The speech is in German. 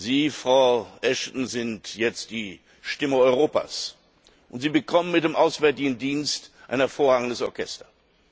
Sie, Frau Ashton, sind jetzt die Stimme Europas, und Sie bekommen mit dem Auswärtigen Dienst ein hervorragendes Orchester.